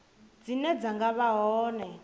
dzine dza nga vha hone